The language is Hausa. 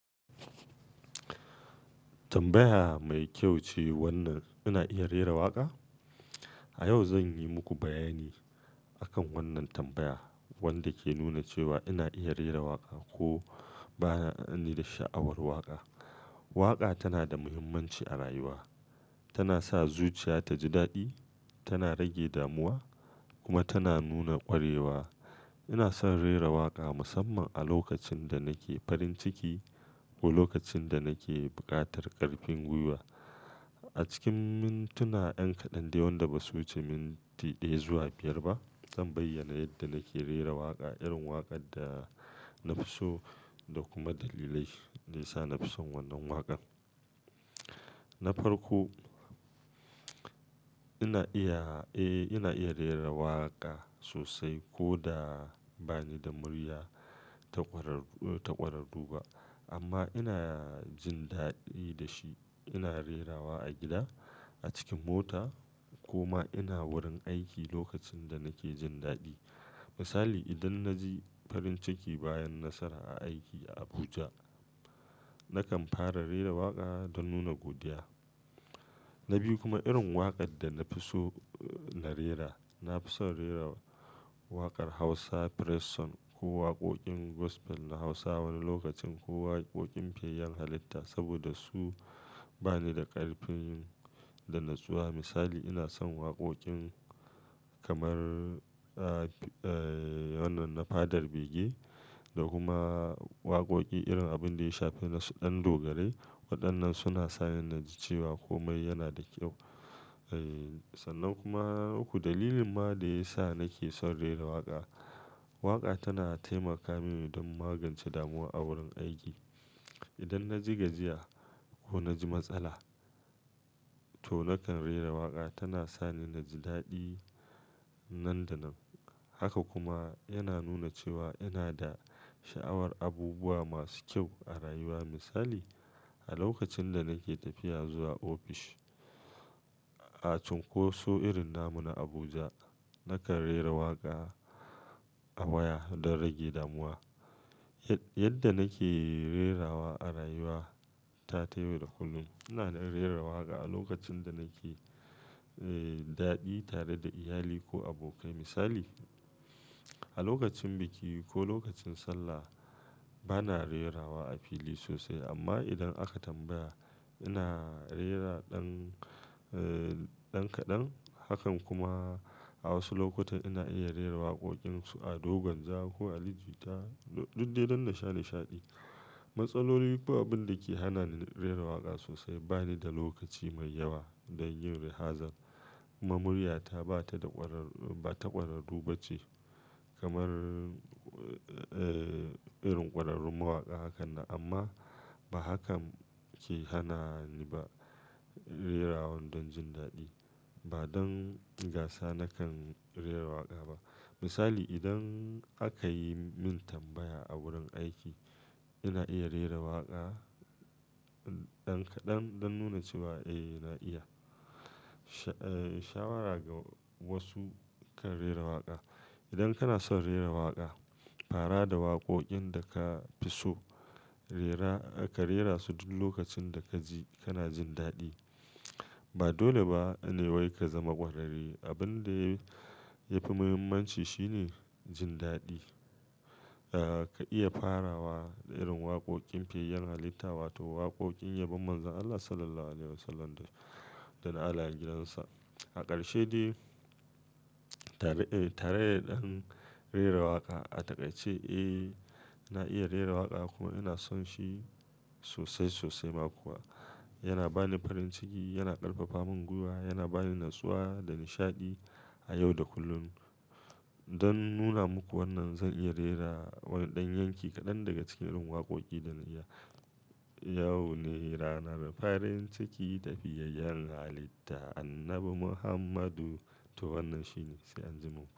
Tambaya mai kyau ce wannan. Ina iya rera waƙa? A yau zan yi muku bayani akan wannan tambaya wanda ke nuna cewa ina iya rera waƙa ko ba ni da sha'awar waƙa. Waƙa tana da muhimmanci a rayuwa, tana sa zuciya ta ji daɗi, tana rage damuwa kuma tana nuna ƙwarewa. Ina son rera waƙa musamman a lokacin da nake farin ciki ko lokacin da nake buƙatar ƙarfin gwiwa. A cikin mintuna 'yan kaɗan da wanda ba su wuce minti daya zuwa biyar ba, zan bayyana yadda nake rera waƙa, irin waƙar da na fi so da kuma dalilai da ya sa na fi son wannan waƙa. Na farko, ina iya, eh, ina iya rera waƙa sosai ko da ba ni da murya ta ƙwararru, ta ƙwararru ba amma ina jin daɗi da shi. Ina rerawa a gida, a cikin mota ko ma ina wurin aiki lokacin da nake jin daɗi. Misali, idan na ji farin ciki bayan nasara a aiki a Abuja, nakan fara rera waƙa don nuna godiya. Na biyu kuma irin waƙar da na fi so na rera, na fi son rera waƙar Hausa Praise song ko waƙoƙin gospel na Hausa wani lokacin ko waƙoƙin fiyayyen halitta saboda su ba ni da ƙarfin da natsuwa. Misali ina son waƙoƙin kamar, eh, wannan na Father Bige da kuma waƙoƙi irin abin da ya shafe ɗan Dogarai. Waɗannan suna sa ni na ji cewa komai yana da kyau. Eh, sannan kuma uku dalilin ma da ya sa nake son rera waƙa. Waƙa tana taimaka mini don magance damuwa a wurin aiki. Idan na ji gajiya ko na ji matsala to nakan rera waƙa. Tana sa ni na ji daɗi nan da nan. Haka kuma yana nuna cewa yana da sha'awar abubuwa masu kyau a rayuwa. Misali, a lokacin da nake tafiya zuwa ofis a Cunkoso irin namu na Abuja, nakan rera waƙa a baya don rage damuwa. Yadda nake rerawa a rayuwa ta taɓa da kullum. Ina rera waƙa a lokacin da nake, eh, daɗi tare da iyali ko abokai. Misali, a lokacin biki ko lokacin Sallah ba na rerawa a fili sosai amma idan aka tambaya ina rera ɗan, ɗan kaɗan. Hakan kuma a wasu lokuta ina iya rera waƙoƙin su a Dogon Jaro ko a Ligi ta duk dai duk da shaɗe-shaɗi. Matsaloli ko abin da ke hana ni rera waƙa sosai bani da lokaci mai yawa don yin rihazol kuma murya ta ba ta da ƙwararru, ba ta ƙwararru ba ce kamar, eh, irin ƙwararrun mawaƙa. Hakan na amma ba hakan ke hana ni ba rerawan don jin daɗi. Ba don gasa nakan rera waƙa ba. Misali, idan aka yi min tambaya a wurin aiki ina iya rera waƙa ɗan kaɗan don nuna cewa eh ina iya. Shawara ga wasu kan rera waƙa. Idan kana son rera waƙa, fara da waƙoƙin da ka fi so. Rera, ka rera su duk lokacin da ka ji kana jin daɗi. Ba dole ba ne wai ka zama ƙwararre. Abin da ya fi muhimmanci shine jin daɗi. Eh, ka iya farawa da irin waƙoƙin fiyayyen halitta wato waƙoƙin yabon Manzon Allah Sallallahu alaihi Wasallam da na al'ajinansa. A ƙarshe dai, tare, tare da ɗan rera waƙa a taƙaice, eh, na iya rera waƙa kuma ina son shi sosai sosai ma kuwa. Yana ba ni farin ciki, yana ƙarfafa min gwiwa, yana ba ni natsuwa da nishaɗi a yau da kullum. Don nuna muku wannan zan iya rera wani ɗan yanki kaɗan daga cikin irin waƙoƙi da na iya. Yau ne rana da farin ciki tafiyar yan halitta annabi Muhammadu to wannan shine, sai an ji mu.